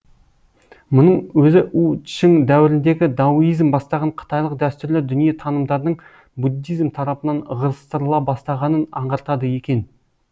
мұның өзі у чың дәуіріндегі дауизм бастаған қытайлық дәстүрлі дүние танымдардың буддизм тарапынан ығыстрыла бастағанын аңғартады екен